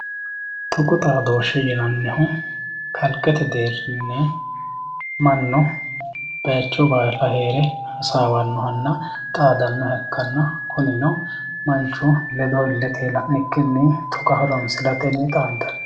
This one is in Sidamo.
Tuqu xaaddooshe yinanihu kaliqete deerinni manu bayicho baalla heere hasawanohanna xaadanoha ikkanna kuninno manchu ledo ilete la'nikkinni tuqa horonsiratenni xaandanni.